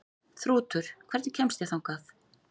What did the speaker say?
Þrútur, hvernig kemst ég þangað?